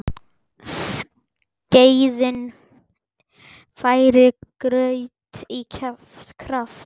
Skeiðin færir graut í kjaft.